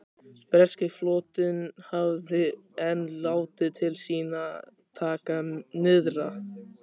Breski flotinn hafði enn látið til sín taka nyrðra.